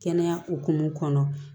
Kɛnɛya hukumu kɔnɔ